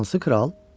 Hansı kral?